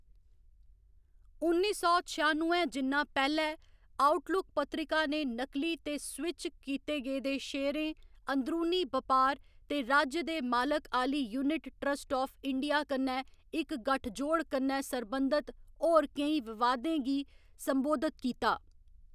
उन्नी सौ छेआनुए जिन्ना पैह्‌लें, आउटलुक पत्रिका ने नकली ते स्विच कीते गेदे शेयरें, अंदरूनी बपार ते राज्य दे मालक आह्‌ली यूनिट ट्रस्ट आफ इंडिया कन्नै इक गठजोड़ कन्ने सरबंधत होर केई विवादें गी संबोधित कीता।